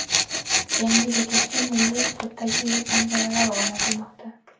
Yangi bekatga milliy uslubdagi yo‘l panjaralari o‘rnatilmoqda.